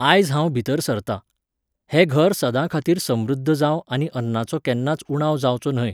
आयज हांव भितर सरतां. हें घर सदांखातीर समृध्द जावं आनी अन्नाचो केन्नाच उणाव जावचो न्हय.